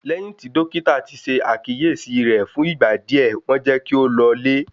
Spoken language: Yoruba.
Lẹ́yìn tí Dọ́kítà ṣe àkíyèsí rẹ̀ fún ìgbà díẹ̀, wọ́n jẹ́ kí ó lọlé.